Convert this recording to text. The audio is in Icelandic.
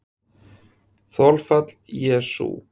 Þolfall: Jesú